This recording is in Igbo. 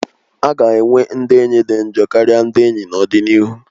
A ga-enwe ndị enyi dị njọ karịa ndị enyi n'ọdịnihu